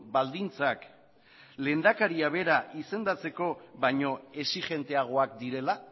baldintzak lehendakaria bera izendatzeko baino exijenteagoak direla